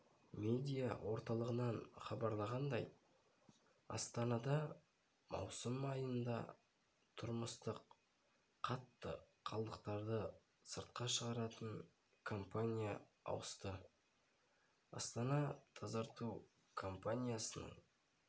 медиа орталығынан хабарланғандай астанада маусым айында тұрмыстық қатты қалдықтарды сыртқа шығаратын компания ауысты астана-тазарту компаниясының